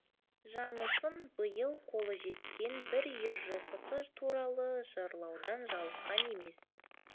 жаңылсын биыл қолы жеткен бір үйір жылқысы туралы жырлаудан жалыққан емес